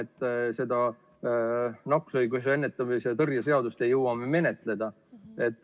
Tõsteti siia sellepärast, et oli arusaam, et nakkushaiguste ennetamise ja tõrje seadust ei jõua me menetleda.